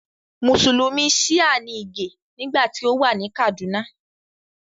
Mùsùlùmí Shia ní Ìgè nígbà tí ó wà ní Kàdúnà